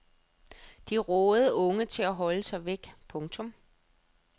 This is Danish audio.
De rådede unge til at holde sig væk. punktum